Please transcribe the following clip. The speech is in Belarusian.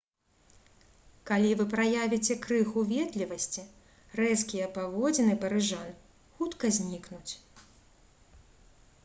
калі вы праявіце крыху ветлівасці рэзкія паводзіны парыжан хутка знікнуць